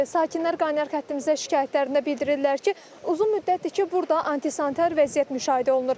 Sakinlər qaynar xəttimizə şikayətlərində bildirirlər ki, uzun müddətdir ki, burda antisantar vəziyyət müşahidə olunur.